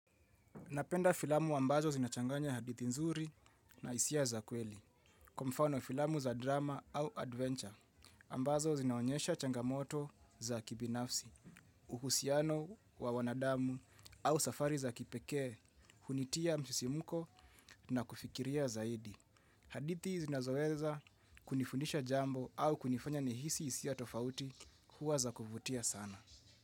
Napenda filamu ambazo zinachanganya hadithi nzuri na hisia za kweli. Kwa mfano filamu za drama au adventure ambazo zinaonyesha changamoto za kibinafsi. Uhusiano wa wanadamu au safari za kipekee hunitia msisimko na kufikiria zaidi. Hadithi zinazoweza kunifundisha jambo au kunifanya nihisi hisia tofauti huwa za kuvutia sana.